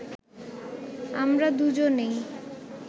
আমরা দুজনেই